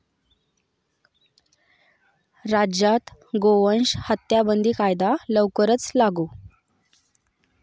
राज्यात गोवंश हत्याबंदी कायदा लवकरच लागू?